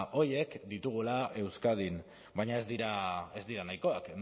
horiek ditugula euskadin baina ez dira ez dira nahikoak